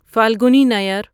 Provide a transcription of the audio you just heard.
Falguni Nayar